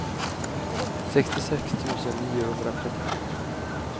sextiosex tusen niohundratrettiosju